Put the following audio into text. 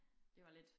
Det var lidt